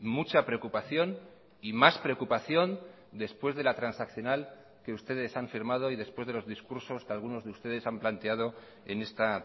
mucha preocupación y más preocupación después de la transaccional que ustedes han firmado y después de los discursos que algunos de ustedes han planteado en esta